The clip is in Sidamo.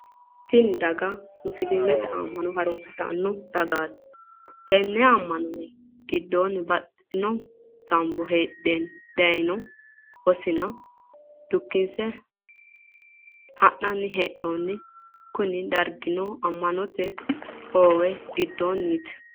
Tinni daga musiliimete ama'no harunsitano dagaati. Tenne ama'no minni gidoonni baxitino ganbo heedheenna daayino wosinna dukinse ha'nanni hee'noonni. Kunni dargino ama'note hoowe gidoonniiti.